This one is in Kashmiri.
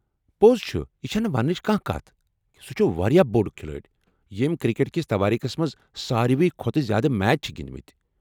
پوٚز چُھ ۔ یہِ چُھنہٕ وننٕچ کانٛہہ کتھ سُہ چُھ واریاہ بۄڈ كھِلٲڈۍ یِم کرکٹ کس توٲریخس منٛز ساروٕے کھۄتہٕ زیٛادٕ میچ چھِ گِنٛدۍ مٕتۍ۔